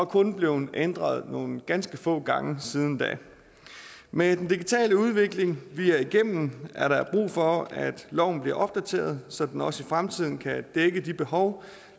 kun blevet ændret nogle ganske få gange siden da og med den digitale udvikling vi er igennem er der brug for at loven bliver opdateret så den også i fremtiden kan dække de behov